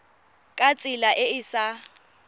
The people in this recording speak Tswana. ka tsela e e sa